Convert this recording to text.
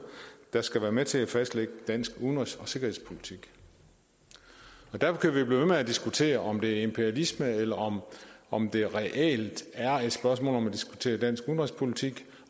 der skal være med til at fastlægge dansk udenrigs og sikkerhedspolitik derfor kan vi blive ved med at diskutere om det er imperialisme eller om om det reelt er et spørgsmål om at diskutere dansk udenrigspolitik